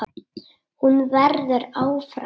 Hún verður áfram.